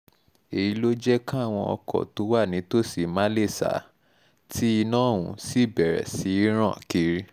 èyí ló jẹ́ káwọn ọkọ̀ tó wà nítòsí má lè sá tí iná ọ̀hún sì bẹ̀rẹ̀ sí í ràn kiri